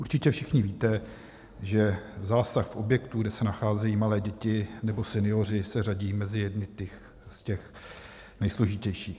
Určitě všichni víte, že zásah v objektu, kde se nacházejí malé děti nebo senioři, se řadí mezi jedny z těch nejsložitějších.